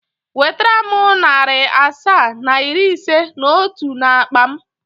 Wetere m narị asaa na iri ise na otu n'akpa m!.